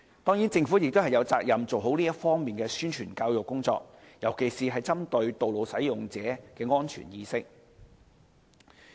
當然，政府亦有責任做好這方面的宣傳教育工作，尤其是針對道路使用者的安全意識。